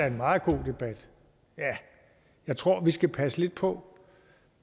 en meget god debat men jeg tror vi skal passe lidt på